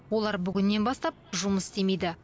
олар бүгіннен бастап жұмыс істемейді